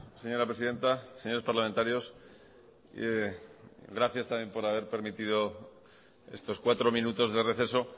señora presidenta señores parlamentarios gracias también por haber permitido estos cuatro minutos de receso